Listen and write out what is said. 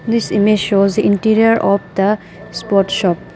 This image shows interior of the sport shop.